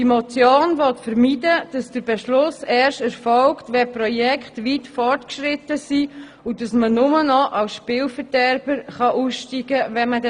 Die Motion will vermeiden, dass der Beschluss erst erfolgt, wenn die Projekte weit fortgeschritten sind und man dann nur noch als Spielverderber aussteigen könnte.